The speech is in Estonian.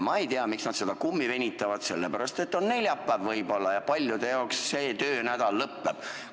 Ma ei tea, miks nad seda kummi venitavad, võib-olla sellepärast, et on neljapäev ja paljudel töönädal lõpeb.